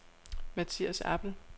Matias Appel